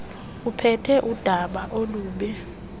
uphethe udaba olubi